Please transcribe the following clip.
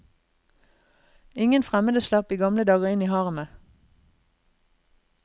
Ingen fremmede slapp i gamle dager inn i haremet.